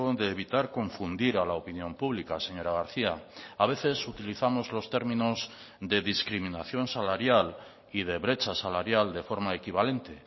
de evitar confundir a la opinión pública señora garcía a veces utilizamos los términos de discriminación salarial y de brecha salarial de forma equivalente